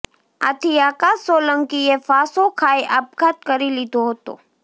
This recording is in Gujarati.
આથી આકાશ સોલંકીએ ફાંસો ખાઇ આપઘાત કરી લીધો હતો